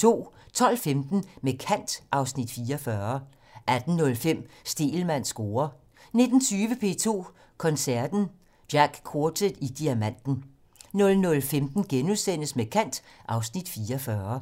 12:15: Med kant (Afs. 44) 18:05: Stegelmanns score 19:20: P2 Koncerten - Jack Quartet i Diamanten 00:15: Med kant (Afs. 44)*